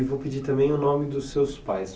E vou pedir também o nome dos seus pais.